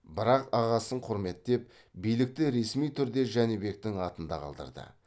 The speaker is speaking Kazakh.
бірақ ағасын құрметтеп билікті ресми түрде жәнібектің атында қалдырды